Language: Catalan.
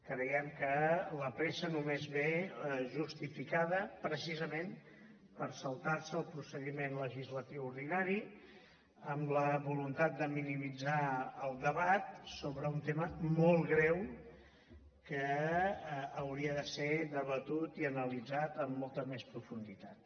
creiem que la pressa només ve justificada precisament per saltarse el procediment legislatiu ordinari amb la voluntat de minimitzar el debat sobre un tema molt greu que hauria de ser debatut i analitzat amb molta més profunditat